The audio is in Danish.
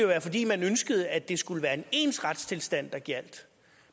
være fordi man ønskede at det skulle være en ens retstilstand der gjaldt